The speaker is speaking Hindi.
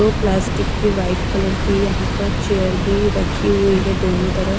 वो प्लास्टिक की व्हाइट कलर की यहां पर चेयर भी रखी हुई है दोनों तरफ।